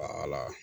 A ala